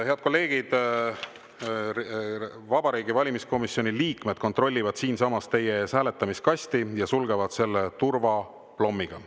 Head kolleegid, Vabariigi Valimiskomisjoni liikmed kontrollivad siinsamas teie ees hääletamiskasti ja sulgevad selle turvaplommiga.